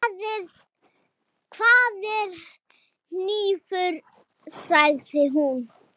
Hvar er hnífur, sagði hún.